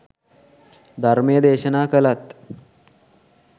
ධර්මය දේශනා කළත්